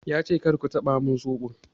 Ya ce "kar ku taɓa min soɓo!'